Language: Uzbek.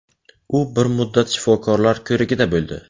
U bir muddat shifokorlar ko‘rigida bo‘ldi.